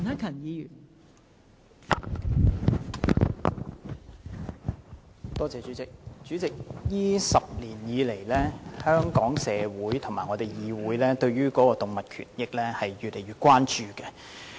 代理主席，這10年以來，香港社會和議會對於動物權益越來越關注。